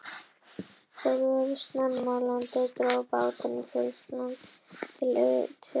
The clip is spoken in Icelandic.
Þeir voru snemma í landi og drógu bátinn upp í fjörusandinn í Trékyllisvík.